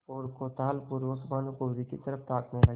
और कौतूहलपूर्वक भानुकुँवरि की तरफ ताकने लगे